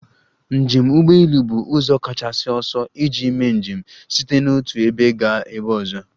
Njem ụgbọ elu bụ ụzọ kachasị ọsọ iji mee njem site n'otu ebe gaa ebe ọzọ.